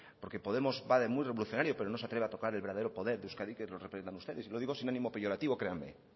porque podemos va de muy revolucionario pero no se atreve a tocar el verdadero poder de euskadi que lo representan ustedes y lo digo sin ánimo peyorativo créanme